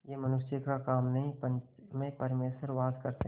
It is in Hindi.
यह मनुष्य का काम नहीं पंच में परमेश्वर वास करते हैं